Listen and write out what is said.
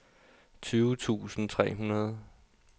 tyve tusind tre hundrede